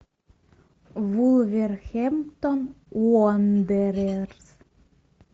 вулверхэмптон уондерерс